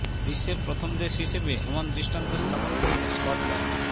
বিশ্বের প্রথম দেশ হিসেবে এমন দৃষ্টান্ত স্থাপন করলো স্কটল্যান্ড